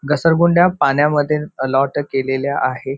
घसरगुंड्या पाण्यामध्ये अलोट केलेल्या आहे.